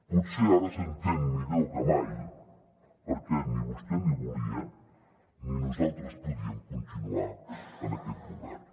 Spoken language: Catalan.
potser ara s’entén millor que mai perquè vostè ni volia ni nosaltres podíem continuar en aquest govern